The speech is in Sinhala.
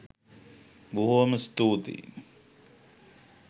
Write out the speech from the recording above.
බොහෝම ස්තූතියි